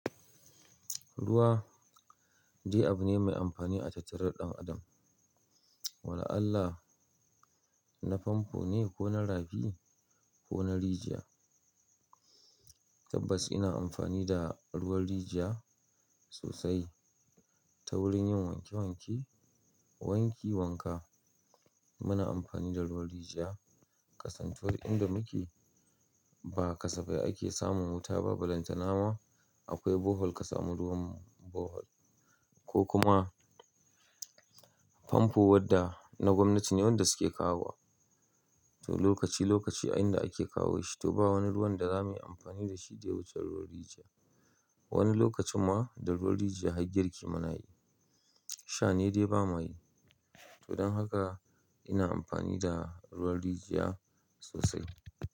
Ruwa dai abu ne mai amfani a tattare da ɗan adam. Wala Allah na famfo ne ko na rafi ko na rijiya. Tabbas ina amfani da ruwan rijiya sosai ta wurin yin wanke wanke, wanki wanka. Muna amfani da ruwan rijiya ƙasantuwar inda muke ba kasafai ake samun wuta ba, ba lantana ma akwai bohol ka samu ruwan bohol. Ko kuma famfo wadda na gwamnati ne wanda su ke kawo. To lokaci lokaci a yanda ake kawo shi. To ba wani ruwan da za mayi amfani da shi, dai wuce ruwan rijiya. Wani lokacin ma da ruwan rijiya har girki mu na yi. Sha ne dai ba mayi. To don haka ina amfani da ruwan rijiya sosai.